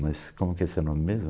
Mas como que é seu nome mesmo?